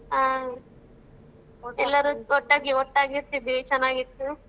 ಆ. ಎಲ್ಲರು ಒಟ್ಟಾಗಿ ಒಟ್ಟಾಗಿ ಇರ್ತಿದ್ವಿ ಚೆನ್ನಾಗಿತ್ತು.